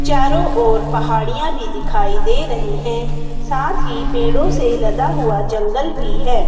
चारो ओर पहाड़िया भी दिखाई दे रही है साथ ही पेड़ो से लदा हुआ जंगल भी है।